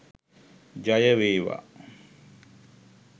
ජය වේවා!.